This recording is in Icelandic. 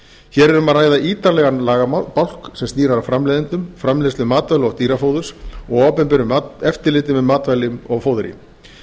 hér er um að ræða ítarlegan lagabálk sem snýr að framleiðendum framleiðslu matvæla og dýrafóðurs og opinberu eftirliti með matvælum og fóðri